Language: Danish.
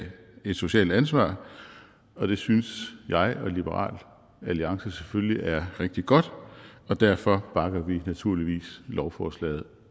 et socialt ansvar og det synes jeg og liberal alliance selvfølgelig er rigtig godt og derfor bakker vi naturligvis lovforslaget